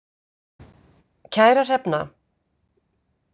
Kæra Hrefna,